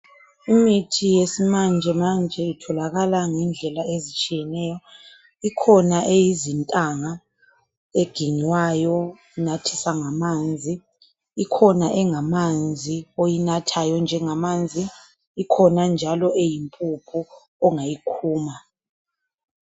Imithi yesimanjemanje itholakala ngendlela ezitshiyeneyo , ikhona eyizintanga eginywayo unathisa ngamanzi , ikhona engamanzi oyinathayo njengamanzi , ikhona njalo eyimpuphu ongayikhuma